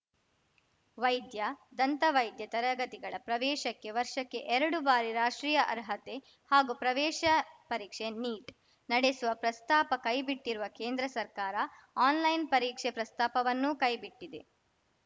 ವೈದ್ಯ ದಂತವೈದ್ಯ ತರಗತಿಗಳ ಪ್ರವೇಶಕ್ಕೆ ವರ್ಷಕ್ಕೆ ಎರಡು ಬಾರಿ ರಾಷ್ಟ್ರೀಯ ಅರ್ಹತೆ ಹಾಗೂ ಪ್ರವೇಶ ಪರೀಕ್ಷೆ ನೀಟ್‌ ನಡೆಸುವ ಪ್ರಸ್ತಾಪ ಕೈಬಿಟ್ಟಿರುವ ಕೇಂದ್ರ ಸರ್ಕಾರ ಆನ್‌ಲೈನ್‌ ಪರೀಕ್ಷೆ ಪ್ರಸ್ತಾಪವನ್ನೂ ಕೈಬಿಟ್ಟಿದೆ